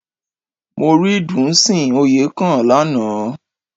Mo rí Dùnsìn Oyèkán lánàá